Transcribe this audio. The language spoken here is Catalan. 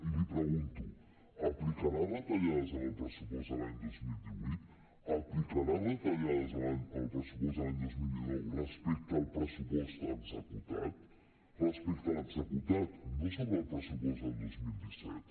i li pregunto aplicarà retallades en el pressupost de l’any dos mil divuit aplicarà retallades en el pressupost de l’any dos mil dinou respecte al pressupost executat respecte a l’executat no sobre el pressupost del dos mil disset